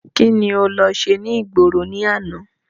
Kíni o lọ ṣe ní ìgboro ní àná?